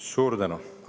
Suur tänu!